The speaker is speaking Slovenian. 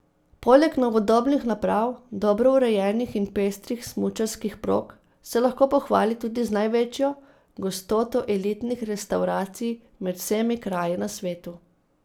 Poleg novodobnih naprav, dobro urejenih in pestrih smučarskih prog se lahko pohvali tudi z največjo gostoto elitnih restavracij med vsemi kraji na svetu.